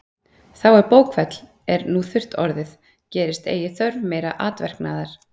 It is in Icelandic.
Þá er bókfell er nú þurrt orðið, gerist eigi þörf meira atverknaðar.